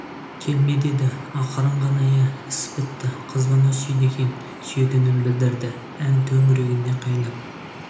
келме деді ақырын ғана иә іс бітті қыз бұны сүйді екен сүйетінін білдірді ән төңіргінде қайнап